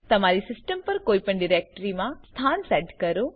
તમારી સિસ્ટમ પર કોઈપણ ડિરેક્ટરીમાં સ્થાન સેટ કરો